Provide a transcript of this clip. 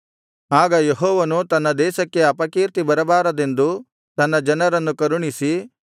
ಆಗ ಯೆಹೋವನು ತನ್ನ ದೇಶಕ್ಕೆ ಅಪಕೀರ್ತಿ ಬರಬಾರದೆಂದು ತನ್ನ ಜನರನ್ನು ಕರುಣಿಸಿ